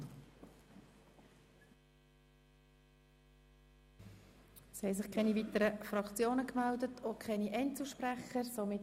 Es haben sich keine weiteren Fraktionen und auch keine Einzelsprecher gemeldet.